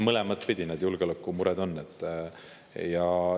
Mõlemat pidi need julgeolekumured on.